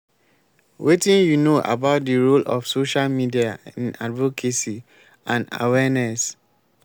wetin you know about di role of social media in advocacy and awareness?